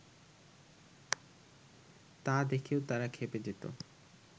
তা দেখেও তারা ক্ষেপে যেত